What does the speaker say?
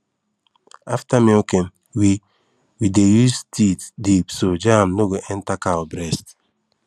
after milking we we dey use teat dip so germ no go enter cow breast